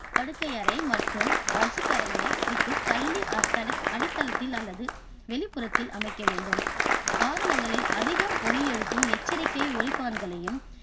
படுக்கை அறை மற்றும் வசிப்பறையை விட்டு தள்ளி தளத்தி~அடித்தளத்தில் அல்லது வெளிப்புறத்தில் அமைக்க வேண்டும். வாகனங்களில் அதிகம் ஒலி எழுப்பும் எச்சரிக்கை ஒலிப்பான்களையும்